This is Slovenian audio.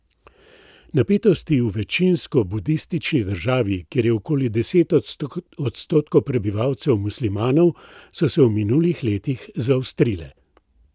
Napetosti v večinsko budistični državi, kjer je okoli deset odstotkov prebivalcev muslimanov, so se v minulih letih zaostrile.